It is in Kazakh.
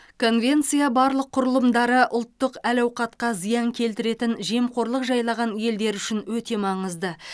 конвенция барлық құрылымдары ұлттық әл ауқатқа зиян келтіретін жемқорлық жайлаған елдер үшін өте маңызды